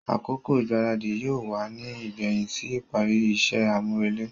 Akoko igbaradi yóò wá ní igbẹhin sí ìparí iṣẹ amurele.